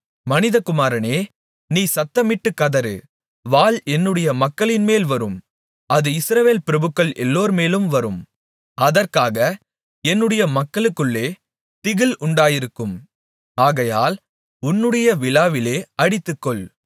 மனிதகுமாரனே நீ சத்தமிட்டு கதறு வாள் என்னுடைய மக்களின்மேல் வரும் அது இஸ்ரவேல் பிரபுக்கள் எல்லார்மேலும் வரும் அதற்காக என்னுடைய மக்களுக்குள்ளே திகில் உண்டாயிருக்கும் ஆகையால் உன்னுடைய விலாவிலே அடித்துக்கொள்